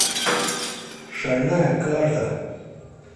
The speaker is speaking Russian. шальная карта